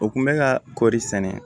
U kun bɛ ka kɔɔri sɛnɛ